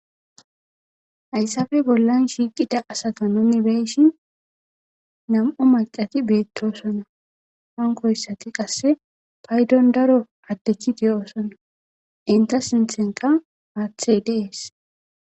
Hayissappe bollanni shiqqida asata nuni be'ishshin nam''u macati betosona.hanikoyisatti qase payiddonni daro adeti de'osona.inta sinththennikka haththeyi dees.